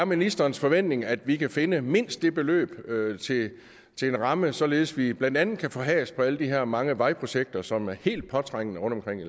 ministerens forventning at vi kan finde mindst det beløb til en ramme således at vi blandt andet kan få has på alle de her mange vejprojekter som er helt påtrængende rundtomkring